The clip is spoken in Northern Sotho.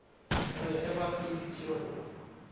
re ge ba feditše go